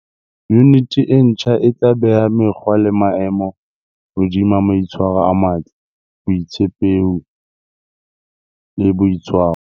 Yuniti e ntjha e tla beha mekgwa le maemo hodima maitshwaro a matle, botshepehi e boitshwaro.